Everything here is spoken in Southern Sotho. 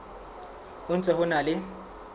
ho ntse ho na le